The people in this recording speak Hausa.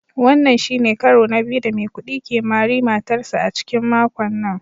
Wannan shi ne karo na biyu da Maikudi ke mari matarsa ​​a cikin makon nan